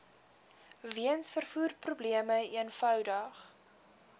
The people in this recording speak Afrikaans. weens vervoerprobleme eenvoudig